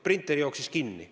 Printer jooksis kinni.